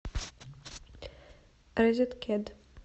розеткед